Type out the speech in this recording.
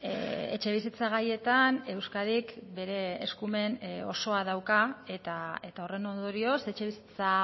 etxebizitza gaietan euskadik bere eskumen osoa dauka eta horren ondorioz etxebizitza